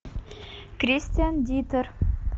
кристиан диттер